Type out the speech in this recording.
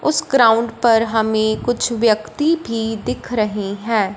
उस ग्राउंड पर हमें कुछ व्यक्ति भी दिख रहे हैं।